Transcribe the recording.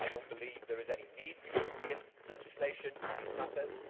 I do not believe there is any need for European legislation in these matters.